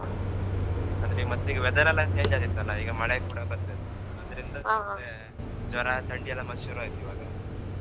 ಮತ್ತ್ ಈಗ weather ಎಲ್ಲ change ಆತಿತ್ತಲ್ಲ ಈಗ ಮಳೆ ಕೂಡ ಬರ್ತಿತ್ತ್ ಅದ್ರಿಂದ ಸುಮ್ನೆ ಮತ್ತೇ ಜ್ವರ, ಥಂಡಿ ಎಲ್ಲ ಮತ್ತ್ ಶುರು ಆಯ್ತ್ ಇವಾಗ.